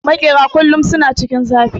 Makera kullum suna cikin zafi